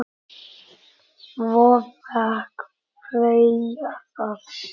Svo fékk Freyja það.